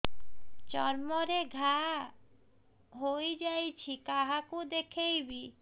ଚର୍ମ ରେ ଘା ହୋଇଯାଇଛି କାହାକୁ ଦେଖେଇବି